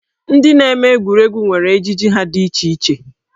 Ndị na-eme egwuregwu nwere ejiji ha dị iche iche.